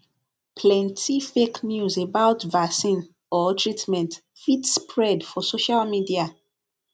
plenty fake news about vaccine or treatment fit spread for social media